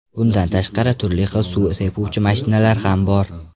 Bundan tashqari, turli xil suv sepuvchi mashinalar ham bor.